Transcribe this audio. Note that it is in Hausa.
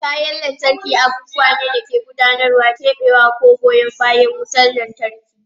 Kayan lantarki abubuwa ne da ke gudanarwa, keɓewa, ko goyan bayan wutar lantarki.